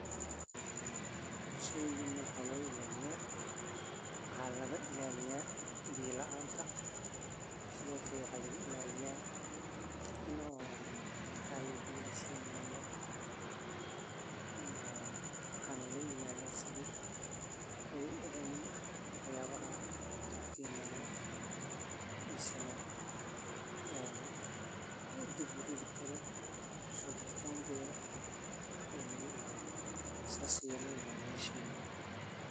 Waraabinta waxaa lagu sameeyaa biyo laga keeno ceelal, webiyo, ama roobka la kaydiyo. Waxa kale oo jira habab casri ah sida waraabka dhibicda ah oo biyaha si tartiib ah u gaarsiiya xididdada dhirta. Beeralayda waa in ay si taxaddar leh ula socdaan jadwalka waraabinta si aysan beertu u qalalin ama u qoyaan xad-dhaaf ah. Sidaas darteed, dhul beereed la waraabiyo waa mid sare u qaada wax-soo-saarka cuntada,